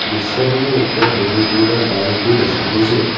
দৃশ্যখনৰ ওপৰত বহুকেইটা বাল্বও দেখা গৈছে।